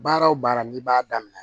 Baara o baara n'i b'a daminɛ